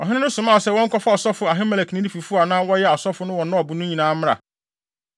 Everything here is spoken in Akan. Ɔhene no somaa sɛ wɔnkɔfa ɔsɔfo Ahimelek ne ne fifo a na wɔyɛ asɔfo wɔ Nob no nyinaa mmra.